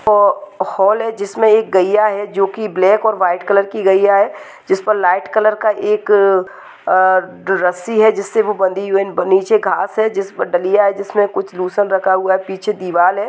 अह हाँल है जिसमे एक गैया है जो की ब्लॅक और व्हाइट कलर की गैया है जीसपर लाइट कलर का एक अह रस्सी है जिस्से वो बंधी हुई है बन नीचे घास है जिस मे है जिसमे कुछ लोसन रखा हुआ है पीछे दीवाल है।